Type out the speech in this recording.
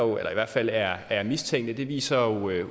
hvert fald er er mistænkte det viser